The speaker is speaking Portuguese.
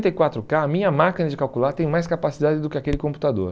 quatro cá, a minha máquina de calcular tem mais capacidade do que aquele computador.